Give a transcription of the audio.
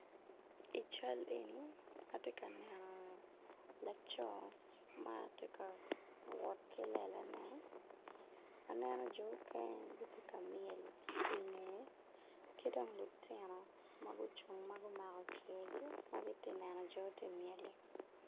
I cal eni atye ka neno laco ma ti ka wot ki lelane aneno jo okene tye myel ki i ngeye ki dong lutino ma gucung ma gumako giti neno jo ma ti myel-li